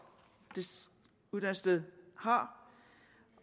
dette uddannelsessted har